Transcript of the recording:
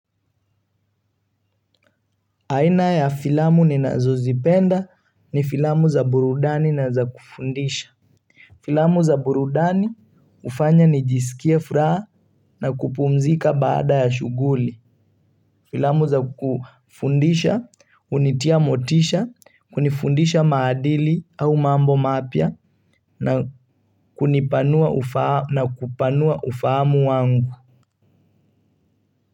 Aina ya filamu ni nazozipenda ni filamu za burudani na za kufundisha. Filamu za burudani hufanya nijisikie furaha na kupumzika baada ya shughuli. Filamu za kufundisha, hunitia motisha, hunifundisha maadili au mambo mapya na kupanua ufahamu wangu.